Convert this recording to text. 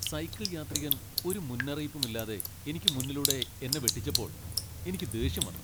Cycle യാത്രികൻ ഒരു മുന്നറിയിപ്പുമില്ലാതെ എനിക്ക് മുന്നിലൂടെ എന്നെ വെട്ടിച്ചപ്പോൾ എനിക്ക് ദേഷ്യം വന്നു.